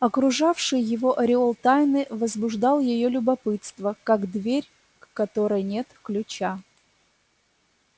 окружавший его ореол тайны возбуждал её любопытство как дверь к которой нет ключа